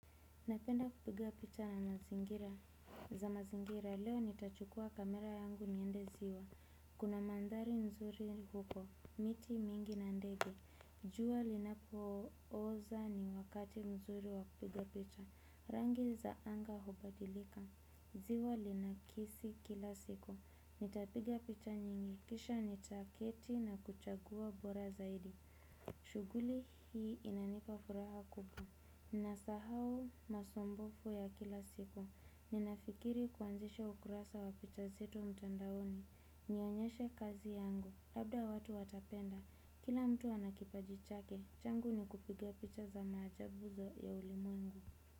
Napenda kupiga picha za mazingira, leo nitachukua kamera yangu niende ziwa, kuna mandhari nzuri huko, miti mingi na ndege, jua linapooza ni wakati mzuri wa kupiga picha, rangi za anga hubadilika, ziwa linakisi kila siku, nitapiga picha nyingi, kisha nitaketi na kuchagua bora zaidi, shughuli hii inanipa furaha kubwa. Nasahau masumbufu ya kila siku. Ninafikiri kuanzishe ukurasa wa picha zetu mtandaoni. Nionyeshe kazi yangu. Labda watu watapenda. Kila mtu ana kipaji chake. Changu ni kupiga picha za maajabu ya ulimwengu.